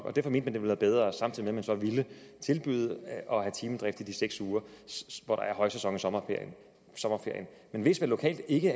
at det ville være bedre samtidig med at man så ville tilbyde at have timedrift i de seks uger hvor der er højsæson i sommerferien men hvis der lokalt ikke